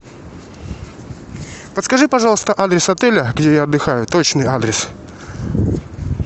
подскажи пожалуйста адрес отеля где я отдыхаю точный адрес